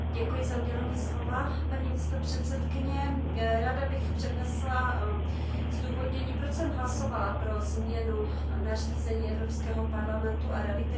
Ráda bych přednesla zdůvodnění, proč jsem hlasovala pro změnu nařízení Evropského parlamentu a Rady, kterým se zřizuje nástroj přispívající ke stabilitě a míru.